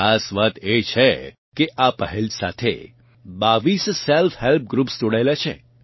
ખાસ વાત એ છે કે આ પહેલ સાથે 22 સેલ્ફહેલ્પ ગ્રૃપ્સ જોડાયેલાં છે